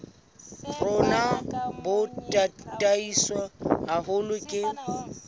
rona bo tataiswe haholo ke